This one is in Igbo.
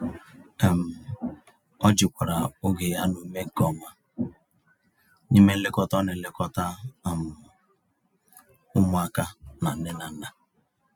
um Ọ jikwara oge ya na ume nke ọma, n'ime nlekọta ọ n'elekota um ụmụaka na nne na nna. um